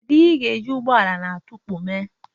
Kedu ihe ị ga-eji ụgbọala na-adọkpụ eme?